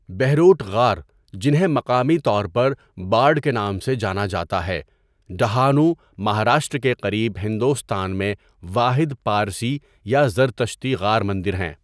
بہروٹ غار، جنہیں مقامی طور پر بارڈ کے نام سے جانا جاتا ہے، ڈہانو، مہاراشٹرا کے قریب، ہندوستان میں واحد پارسی یا زرتشتی غار مندر ہیں.